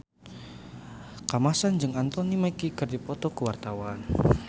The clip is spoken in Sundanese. Kamasean jeung Anthony Mackie keur dipoto ku wartawan